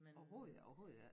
Overhovedet ik overhovedet ik